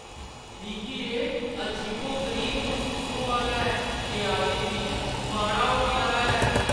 मिगी एह् अजीबो-गरीब मसूस होआ दा ऐ जे अज्ज किश माड़ा होने आह्‌ला ऐ।